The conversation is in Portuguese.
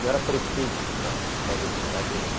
Não era pretexto para fazer brincadeira, não.